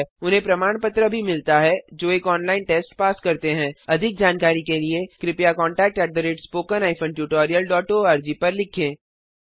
उन्हें प्रमाण पत्र भी मिलता है जो एक ऑनलाइन टेस्ट पास करते हैं अधिक जानकारी के लिए कृपया contact at spoken hyphen tutorial dot org पर लिखें